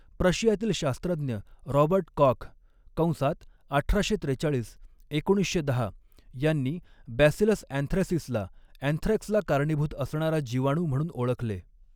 प्रशियातील शास्त्रज्ञ Robert Koch कंसात अठराशे त्रेचाळीस एकोणीसशे दहा यांनी 'बॅसिलस ऍन्थ्रॅसिस'ला ऍन्थ्रॅक्सला कारणीभूत असणारा जीवाणू म्हणून ओळखले.